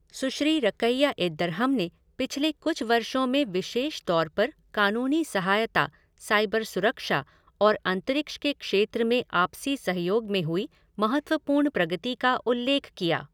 सुश्री Raqia Eddarham ने पिछले कुछ वर्षों में विशेष तौर पर कानूनी सहायता, साइबर सुरक्षा और अंतरिक्ष के क्षेत्र में आपसी सहयोग में हुई महत्वपूर्ण प्रगति का उल्लेख किया।